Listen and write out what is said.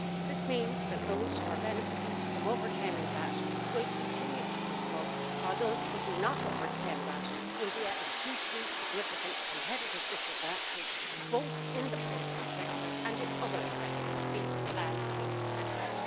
This means that those who are benefiting from over-claiming VAT will continue to do so, while those who do not overclaim VAT will be at a hugely significant competitive disadvantage, both in the poultry sector and in other sectors beef, lamb, pigs, etc.